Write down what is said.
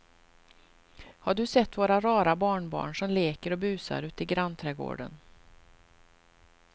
Har du sett våra rara barnbarn som leker och busar ute i grannträdgården!